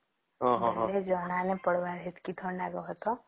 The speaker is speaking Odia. ଜଣ ନାଇଁ ପଡିବ ସେତକୀ ଥଣ୍ଡା ନାଇଁ କାହା ତା